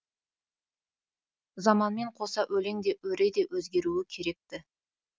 заманмен қоса өлең де өре де өзгеруі керек ті